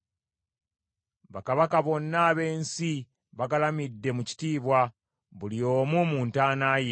Bakabaka bonna ab’ensi bagalamidde mu kitiibwa, buli omu mu ntaana ye,